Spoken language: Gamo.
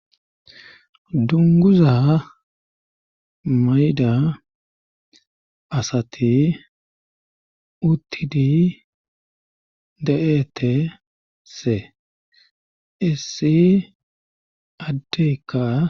dunguza mayda asati uttidi de7eette se issi addeykka